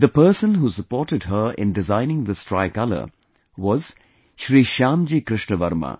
The person who supported her in designing this Tricolor was Shri Shyamji Krishna Varma